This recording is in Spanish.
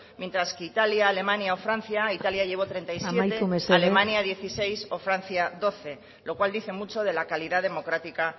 mientras que italia alemania o francia italia llevó treinta y siete amaitu mesedez alemania dieciséis o francia doce lo cual dice mucho de la calidad democrática